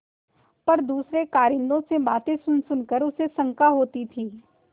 पर दूसरे कारिंदों से बातें सुनसुन कर उसे शंका होती थी